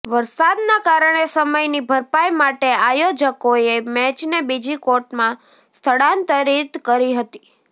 વરસાદના કારણે સમયની ભરપાઈ માટે આયોજકોએ મેચને બીજી કોર્ટમાં સ્થળાંતરિત કરી હતી